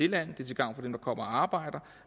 landet og til gavn for dem der kommer og arbejder